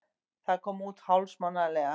Það kom út hálfsmánaðarlega.